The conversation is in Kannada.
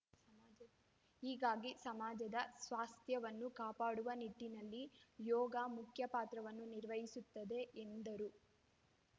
ಹೀಗಾಗಿ ಸಮಾಜದ ಸ್ವಾಸ್ಥ್ಯವನ್ನು ಕಾಪಾಡುವ ನಿಟ್ಟಿನಲ್ಲಿ ಯೋಗ ಮುಖ್ಯಪಾತ್ರವನ್ನು ನಿರ್ವಹಿಸುತ್ತದೆ ಎಂದರು